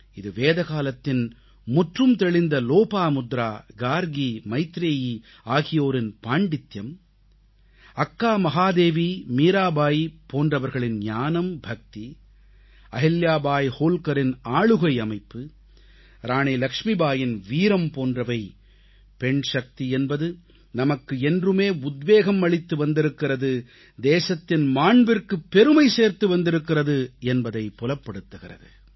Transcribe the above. அது வேதகாலத்தின் முற்றும் தெளிந்த லோப்பமுத்ரா கார்க்கி மைத்ரேயி ஆகியோரின் பாண்டித்யம் அக்கா மகாதேவி மீராபாயி போன்றோரின் ஞானம் பக்தி அஹில்யாபாய் ஹோல்கரின் ஆளுகை அமைப்பு இராணி லக்ஷ்மிபாயின் வீரம் போன்றவை பெண்சக்தி என்பது நமக்கு என்றுமே உத்வேகம் அளித்து வந்திருக்கிறது தேசத்தின் மாண்பிற்குப் பெருமை சேர்த்து வந்திருக்கிறது என்பதைப் புலப்படுத்துகிறது